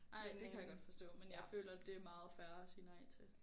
Ej det kan jeg godt forstå men jeg føler det meget fair at sige nej til